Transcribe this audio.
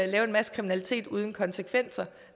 lave en masse kriminalitet uden konsekvenser